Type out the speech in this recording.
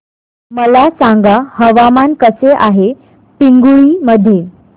मला सांगा हवामान कसे आहे पिंगुळी मध्ये